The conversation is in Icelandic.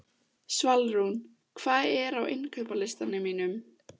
Svalrún, hvað er á innkaupalistanum mínum?